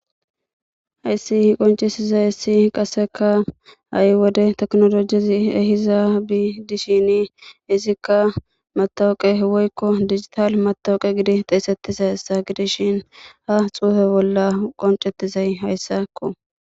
Hayssi qoncisizay issi qasseka ha7i wode teknolojizi ehizaabi dishini izikka matawoqe woykko digital matawuqe gidi xeesettizayssa gidishin ha xuufe bolla qoncettizay hayssakko.